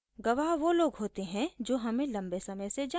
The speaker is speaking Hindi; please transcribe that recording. गवाह वो लोग होते हैं जो हमें लम्बे समय से जानते हैं